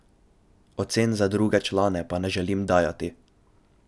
Ocen za druge člane pa ne želim dajati.